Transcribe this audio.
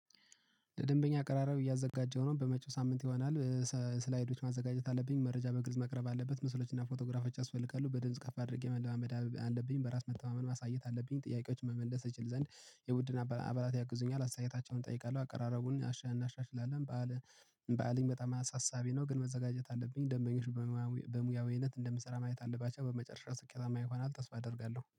ለደንበኛ አቀራረብ እያዘጋጀው ነው በመጪው ሳምንት ይሆናል። ስላይዶች ማዘጋጀት አለብኝ መረጃ በግልጽ መቅረብ አለበት ምስሎችና ፎቶግራፎች ያስፈልጋሉ። በጽንሰ ሀሳብ አድርጌ መለማመድ አለብኝ በራስ መተማመን ማሳየት አለብኝ። ጥያቄዎችን መመለስ እችል ዘንድ የቡድን አባላት ያግዙኛል አስተያየታቸውን እጠይቃለሁ። አቀራረቡን እናሻሽላለን። በዓል በአለም በጣም አሳሳቢ ነው። ግን መዘጋጀት አለብኝ። ደመኞች በሙያዊነት እንደምሰራ ማየት አለባቸው። በመጨረሻ ስኬታማ ይሆናል ብዬ ተስፋ አደርጋለሁ